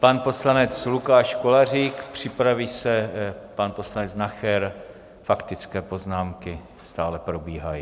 Pan poslanec Lukáš Kolářík, připraví se pan poslanec Nacher, faktické poznámky stále probíhají.